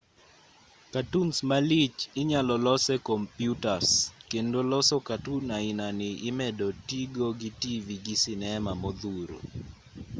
katuns malich inyalo los e komyutas kendo loso katun ainani imedo tigo gi tivi gi sinema modhuro.